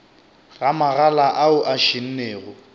ga magala ao a šennego